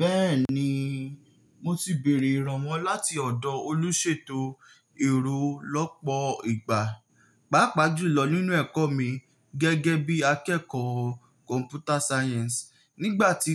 Bẹ́ẹ̀ni, mo ti bèèrè ìrànwọ́ láti ọ̀dọ̀ olùṣètò èrò lọ́pọ̀ ìgbà, pàápàá jùlọ nínú ẹ̀kọ́ mi gẹ́gẹ́ bí akẹ́kọ̀ọ́ Computer Science. Nígbà tí